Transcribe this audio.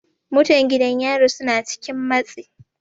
Mutan gidan yari suna cikin matsi.